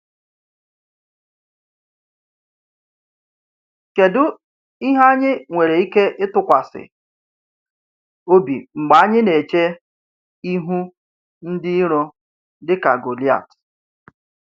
Kedu ihe anyị nwere ike ịtụkwasị obi mgbe anyị na-eche ihu ndị iro dị ka Goliath?